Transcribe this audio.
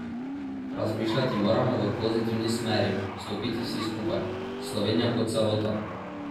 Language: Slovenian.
Razmišljati moramo v pozitivni smeri, stopiti vsi skupaj, Slovenija kot celota.